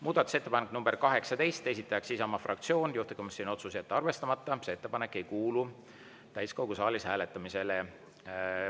Muudatusettepanek nr 18, esitajaks Isamaa fraktsioon, juhtivkomisjoni otsus: jätta arvestamata, see ettepanek ei kuulu täiskogu saalis hääletamisele.